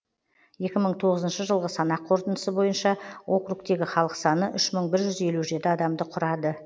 екі мың тоғызыншы жылғы санақ қорытындысы бойынша округтегі халық саны үш мың бір жүз елу жеті адамды құрады